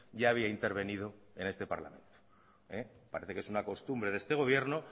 ya había intervenido en este parlamento parece que es una costumbre de este gobierno